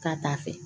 Ka taa fɛ